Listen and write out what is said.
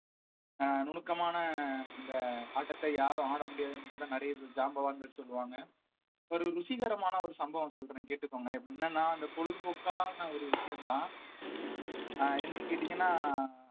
அஹ் நுணுக்கமான இந்த ஆட்டத்தை யாரும் ஆட முடியாதுன்னு கூட நிறைய பேர் ஜாம்பவான்கள் சொல்லுவாங்க ஒரு ருசிகரமான ஒரு சம்பவம் சொல்றேன் கேட்டுக்கோங்க என்னன்னா அந்த பொழுதுபோக்கான ஒரு விஷயம்தான் அஹ் என்னன்னு கேட்டீங்கன்னா